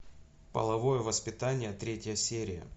половое воспитание третья серия